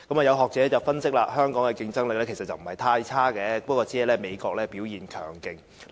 有學者分析香港的競爭力不是太差，只是美國表現強勁。